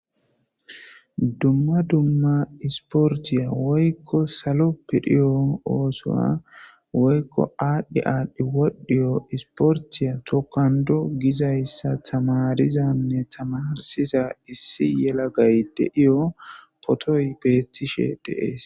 dumma dumma isportiya woykko salo pidhiyo oosoa woykko aadhdhi aadhdhi wodhdhiyo isportiya tokando gizayssa tamarizanne tamarsiza issi yela gay de7iyo potoy beettishe deees